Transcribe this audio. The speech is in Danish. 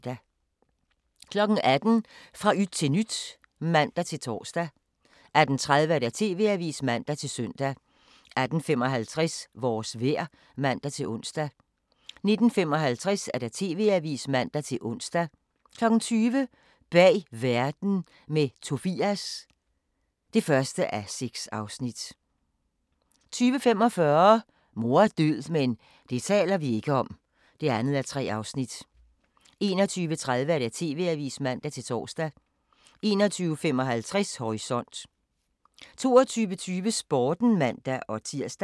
18:00: Fra yt til nyt (man-tor) 18:30: TV-avisen (man-søn) 18:55: Vores vejr (man-ons) 19:05: Aftenshowet (man-ons) 19:55: TV-avisen (man-ons) 20:00: Bag verden – med Tobias (1:6) 20:45: Mor er død – men det taler vi ikke om (2:3) 21:30: TV-avisen (man-tor) 21:55: Horisont 22:20: Sporten (man-tir)